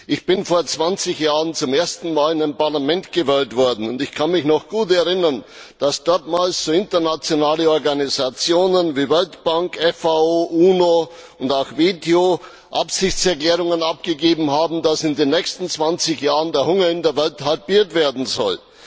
Ich bin vor 20 Jahren zum ersten Mal in ein Parlament gewählt worden, und ich kann mich noch gut erinnern, dass damals internationale Organisationen wie Weltbank, FAO, UNO und auch WTO Absichtserklärungen abgegeben haben, dass in den nächsten 20 Jahren der Hunger in der Welt halbiert werden soll.